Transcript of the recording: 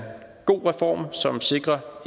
god reform som sikrer